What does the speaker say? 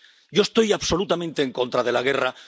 Yo estoy absolutamente en contra de la guerra.